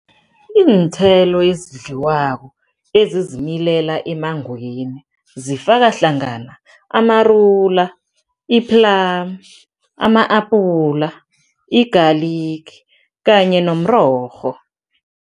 Iinthelo ezidliwako ezizimilela emmangweni zifaka hlangana, amarula, i-plum, ama-apula, i-garlic kanye nomrorho.